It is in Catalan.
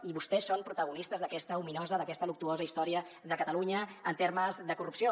i vostès són protagonistes d’aquesta ominosa d’aquesta luctuosa història de catalunya en termes de corrupció